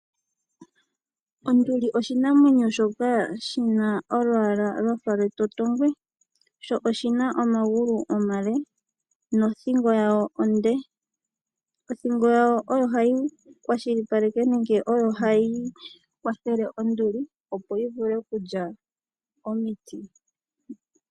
Onduli oshinamwenyo shoka shina olwaala lwafa lwetotongwe sho oshina omagulu omale nothingo yawo onde. Othingo yawo oyo hayi kwashilipaleka nenge oyo hayi kwathele onduli opo yivule okulya komiti.